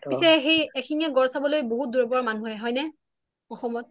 পিছে এক শিং য়া গড় চাবলৈ বহুত দুৰৰ পৰা মানুহ আহে হয় নে অসমত